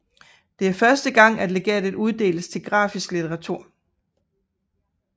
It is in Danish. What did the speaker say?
Det er første gang at legatet uddeles til grafisk litteratur